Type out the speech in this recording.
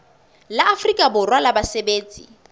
la afrika borwa la basebetsi